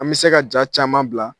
An bɛ se ka ja caman bila.